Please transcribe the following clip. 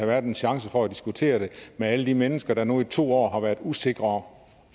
været en chance for at diskutere det med alle de mennesker der nu i to år har været usikre om